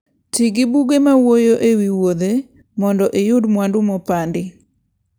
Ti gi buge mawuoyo e wi wuodhe mondo iyud mwandu mopandi.